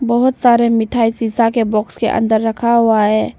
बहुत सारे मिठाई शीशा के बॉक्स के अंदर रखा हुआ है।